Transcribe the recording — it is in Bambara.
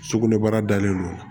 Sugunɛbara dalen don